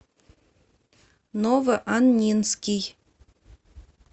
новоаннинский